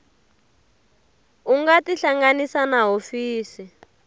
u nga tihlanganisa na hofisi